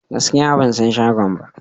Gaskiya ban san shagon ba.